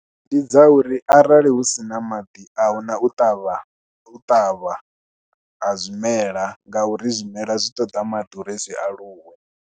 Ndi dza uri arali hu si na maḓi, a hu na u ṱavha u ṱavha ha zwimela ngauri zwimela zwi ṱoda maḓi uri zwi aluwe.